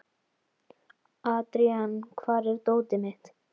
Adrian, hvar er dótið mitt?